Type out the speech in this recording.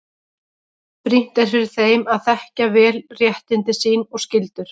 Brýnt er fyrir þeim að þekkja vel réttindi sín og skyldur.